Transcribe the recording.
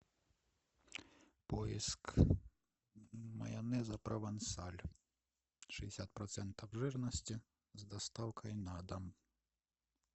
поиск майонеза провансаль шестьдесят процентов жирности с доставкой на дом